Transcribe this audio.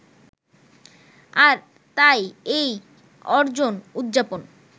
আর তাই এই অর্জন উদযাপন